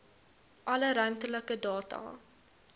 alle ruimtelike data